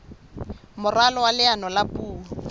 moralo wa leano la puo